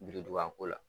Birinduban ko la